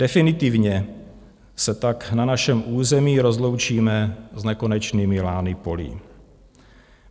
Definitivně se tak na našem území rozloučíme s nekonečnými lány polí.